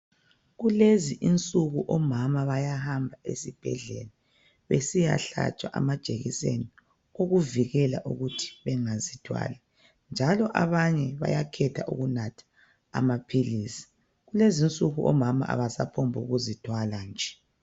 Kulezinsuku omama bayahamba ezibhedlela besiya hlatshwa amajekiseni okuvikela ukuthi bengazithwali njalo abanye bayakhetha ukunatha amaphilisi kulezinsuku omama abasaphombu kuzithwala nje.